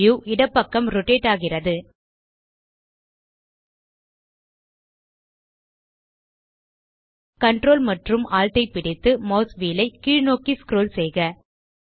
view இடப்பக்கம் rotate ஆகிறது ctrl மற்றும் alt ஐ பிடித்து மாஸ் வீல் ஐ கீழ்நோக்கி ஸ்க்ரோல் செய்க